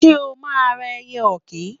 Ṣé o máa ra ẹyẹ ọ̀kín?